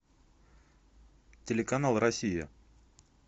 телеканал россия